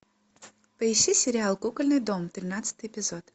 поищи сериал кукольный дом тринадцатый эпизод